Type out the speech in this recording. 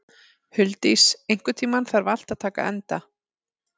Huldís, einhvern tímann þarf allt að taka enda.